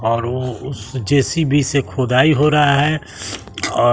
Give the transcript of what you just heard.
और वो उस जे_सी_बी से खुदाई हो रहा है और